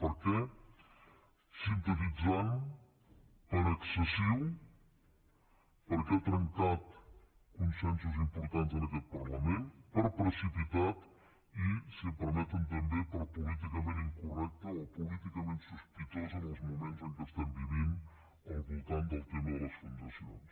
per què sintetitzant per excessiu perquè ha trencat consensos importants en aquest parlament per precipitat i si em permeten també per políticament incorrecte o políticament sos·pitós en els moments que vivim al voltant del tema de les fundacions